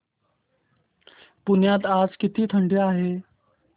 पुण्यात आज किती थंडी आहे